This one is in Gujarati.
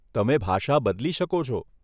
તમે ભાષા બદલી શકો છો.